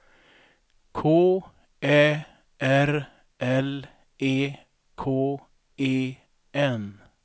K Ä R L E K E N